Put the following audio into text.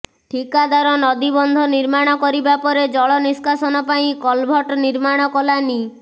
ଠିକାଦାର ନଦୀବନ୍ଧ ନିର୍ମାଣ କରିବାପରେ ଜଳ ନିସ୍କାସନ ପାଇଁ କଲଭଟ ନିର୍ମାଣ କଲାନି